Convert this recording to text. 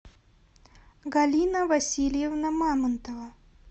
галина васильевна мамонтова